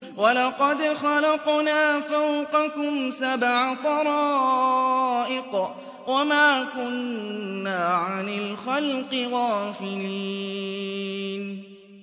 وَلَقَدْ خَلَقْنَا فَوْقَكُمْ سَبْعَ طَرَائِقَ وَمَا كُنَّا عَنِ الْخَلْقِ غَافِلِينَ